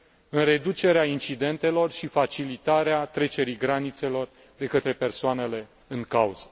în reducerea incidentelor și facilitarea trecerii granițelor de către persoanele în cauză.